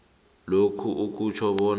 lokhu akutjho bona